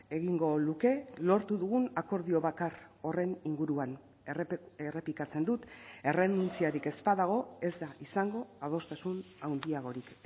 egingo luke lortu dugun akordio bakar horren inguruan errepikatzen dut errenuntziarik ez badago ez da izango adostasun handiagorik